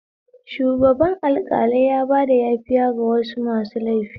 Shugaban alƙalai yabada yafiya ga wasu masu laifi